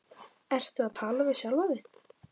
Ertu að tala við sjálfa þig?